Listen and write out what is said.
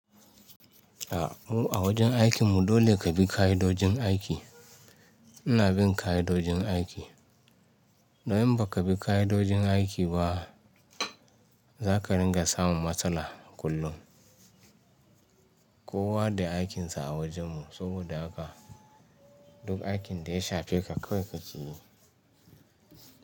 A wajen aikin mu dole ka bi ƙayyadojin aiki. Ina bin kayyadojin aiki. Dan in ba ka bi ƙa'idojin aiki ba. Za ka ringa samun matsala kullum. Kowa da aikin sa a wajen mu, saboda haka. Duk aikin da ya shafe ka kawai kake yi.